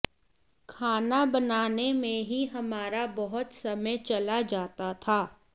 खाना बनाने में ही हमारा बहुत समय चला जाता था